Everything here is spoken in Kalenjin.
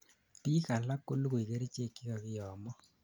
biik alak kolugui kerichek chekakiyomo